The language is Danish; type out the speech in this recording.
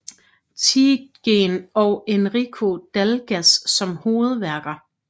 Tietgen og Enrico Dalgas som hovedværker